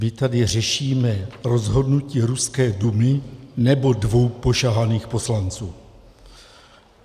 My tady řešíme rozhodnutí ruské Dumy, nebo dvou pošahaných poslanců?